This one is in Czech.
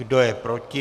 Kdo je proti?